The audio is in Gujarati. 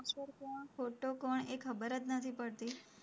ખોટો કોણ એ ખબર જ નથી પડતી.